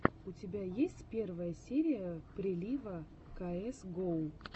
у тебя есть первая серия прилива каэс гоу